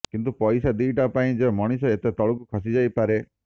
କିନ୍ତୁ ପଇସା ଦିଟା ପାଇଁ ଯେ ମଣିଷ ଏତେ ତଳକୁ ଖସି ଯାଇପାରେ